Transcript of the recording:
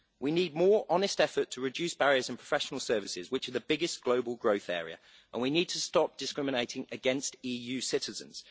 We need more honest effort to reduce barriers in professional services which are the biggest global growth area, and we need to stop discriminating against EU citizens.